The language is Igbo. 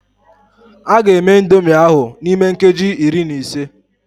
A ga-eme indomie ahụ n'ime nkeji iri na ise.